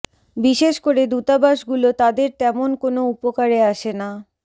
বিশেষ করে দূতাবাসগুলো তাদের তেমন কোনো উপকারে আসে না